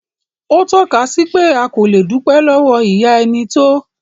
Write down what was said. Ó tọ́ka sí pé a kò le dúpẹ́ lọ́wọ́ ìyá ẹni tó.